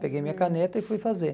Peguei minha caneta e fui fazer.